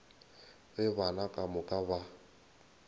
ge bana ka moka ba